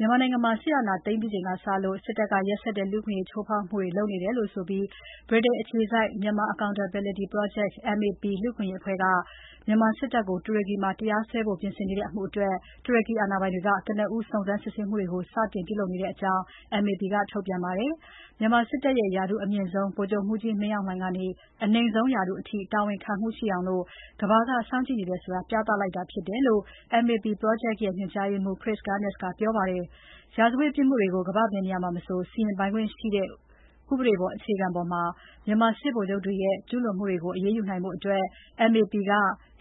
မြန်မာနိုင်ငံမှာ စစ်အာဏာသိမ်းပြီးချိန်ကစလို့ စစ်တပ်ရဲ့ ရက်စက်တဲ့လူ့အခွင့်အရေး ချိုးဖောက်တယ်လို့ ဗြိတိန်အခြေစိုက် Myanmar Accountability Project, MAP လူ့အခွင့်အရေးအဖွဲ့က မြန်မာစစ်တပ်ကို တူရကီမှာ တရားစွဲဖို့ပြင်နေတဲ့ အမှုအတွက် တူရကီအာဏာပိုင်တွေက ကနဦး စုံစမ်းစစ်ဆေးမှုတွေကို စတင်ပြုလုပ်နေတယ်လို့ MAP က ထုတ်ပြန်ပါတယ်။ မြန်မာစစ်တပ်ရဲ့ ရာထူးအမြင့်ဆုံး ဗိုလ်ချုပ်မှူးကြီး မင်းအောင်လှိုင်ကနေ အနိမ့်ဆုံးရာထူးအထိ တာဝန်ခံမှုရှိအောင် ကမ္ဘာက စောင့်ကြည့်နေတယ်ဆိုတာ ပြသလိုက်တာဖြစ်တယ်လို့ MAP ပရောဂျက်ရဲ့ ညွန်ကြားရေးမှူး Chris Gunness ကပြောပါတယ်။ ရာဇဝတ်ပြစ်မှုတွေကို ကမ္ဘာ့ဘယ်နေရာမှာမဆို စီရင်ပိုင်ခွင့်ရှိတယ်ဆိုတဲ့ ဥပဒေအခြေခံပေါ်မှာ မြန်မာစစ်ဗိုလ်ချုပ်တွေရဲ့ ကျူးလွန်မှုတွေကို အရေးယူနိုင်ဖို့ MAP က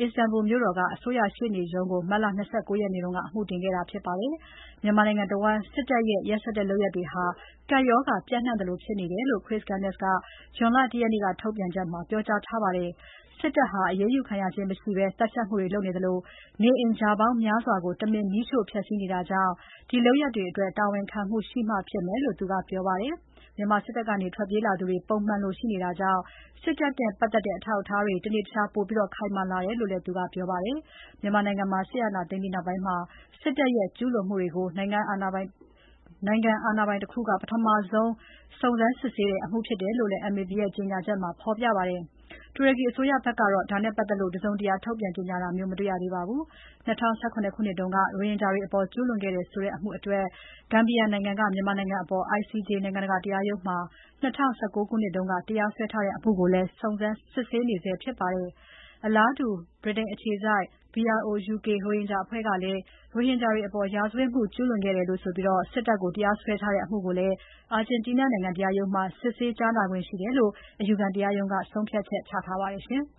Istanbul မြို့တော်က အစိုးရရှေ့နေရုံးကို မတ်လ ၂၉ ရက်က အမှုတင်ခဲ့တာ ဖြစ်ပါတယ်။ မြန်မာနိုင်ငံတဝန်း စစ်တပ်ရဲ့ ရက်စက်တဲ့ လုပ်ရပ်တွေဟာ ကပ်ရောဂါပျံ့နှံ့သလို ဖြစ်နေတယ်လို့ Chris Gunness က ဇွန်လ ၁ ရက်နေ့က ထုတ်ပြန်ချက်မှာ ပြောထားပါတယ်။ စစ်တပ်ဟာ အရေးယူခံရခြင်းမရှိဘဲ သတ်ဖြတ်မှုတွေလုပ်နေသလို၊ နေအိမ် ရာပေါင်းများစွာကို တမင်မီးရှို့ဖျက်စီးနေတာကြောင့် ဒီလုပ်ရပ်တွေအတွက် တာဝန်ခံမှုရှိမှ ဖြစ်မယ်လို့ သူကပြောပါတယ်။ မြန်မာစစ်တပ်ကနေ ထွက်ပြေးလာသူတွေ ပုံမှန်လိုရှိနေတာကြောင့် စစ်တပ်နဲ့ပါတ်သက်တဲ့ အထောက်အထားတွေ တနေ့တခြား ပိုခိုင်မာလာတယ်လု့ိလည်း သူက ပြောပါတယ်။ မြန်မာနိုင်ငံမှာ စစ်အာဏာသိမ်းပြီးနောက်ပိုင်း စစ်တပ်ရဲ့ကျူးလွန်မှုတွေကို နိုင်ငံအာဏာပိုင်တခုက ပထမဆုံး စုံစမ်းစစ်နေတဲ့အမှုဖြစ်တယ်လို့လည်း MAP ကြေညာချက်မှာ ဖော်ပြပါတယ်။ တူရကီအစိုးရဖက်ကတော့ ဒါနဲ့ပတ်သက်လို့ တစုံတရာ ထုတ်ပြန်ကြေညာတာမျိုး မတွေ့ရသေးပါဘူး။ ၂၀၁၇ ခုနှစ်က ရိုဟင်ဂျာတွေအပေါ် ကျူးလွန်ခဲ့တယ်ဆိုတဲ့ အမှုအတွက် Gambia နိုင်ငံက မြန်မာအစိုးရအပေါ် ICJ နိုင်ငံတကာတရားရုံးမှာ ၂၀၁၉ ခုနှစ်က တရားစွဲထားတဲ့ အမှုကိုလည်း စစ်ဆေးနေဆဲဖြစ်ပါတယ်။ အလားတူ ဗြိတိန်အခြေစိုက် BROUK ရိုဟင်ဂျာအဖွဲ့ကလည်း ရိုဟင်ဂျာတွေအပေါ် စစ်ရာဇဝတ်မှု ကျူးလွန်ခဲ့တယ်ဆိုပြီး စစ်တပ်အပေါ် တရားစွဲထားတဲ့ အမှုကိုလည်း အာဂျင်တီးနားနိုင်ငံ တရားရုံးမှာ စစ်ဆေးကြားနာခွင့်ရှိတယ်လို့ အယူခံတရားရုံးက ဆုံးဖြတ်ချက်ချထားပါတယ်။